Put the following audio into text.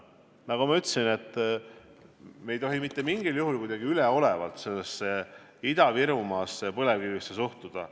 Nagu ma ütlesin, me ei tohi mingil juhul kuidagi üleolevalt Ida-Virumaasse ja põlevkivisse suhtuda.